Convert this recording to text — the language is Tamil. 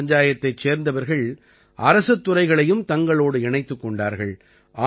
கிராமப் பஞ்சாயத்தைச் சேர்ந்தவர்கள் அரசுத் துறைகளையும் தங்களோடு இணைத்துக் கொண்டார்கள்